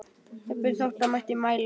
Jafnvel þótt hann mætti mæla.